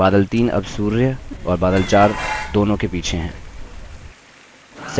बादल 3 अब सूर्य और बादल 4 दोनों के पीछे है